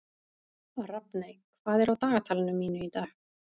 Rafney, hvað er á dagatalinu mínu í dag?